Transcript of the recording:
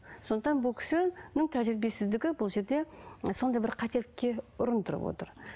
сондықтан бұл кісінің тәжірибесіздігі бұл жерде м сондай бір қателікке ұрындырып отыр